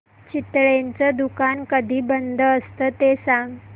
चितळेंचं दुकान कधी बंद असतं ते सांग